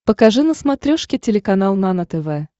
покажи на смотрешке телеканал нано тв